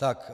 Tak.